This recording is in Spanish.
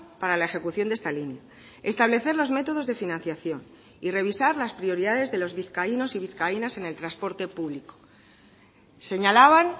para la ejecución de esta línea establecer los métodos de financiación y revisar las prioridades de los vizcaínos y vizcaínas en el transporte público señalaban